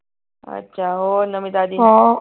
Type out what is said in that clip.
ਅੱਛਾ ਹੋਰ ਨਵੀਂ ਤਾਜੀ